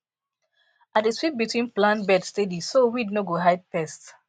i dey sweep between plant bed steady so weed no go hide pest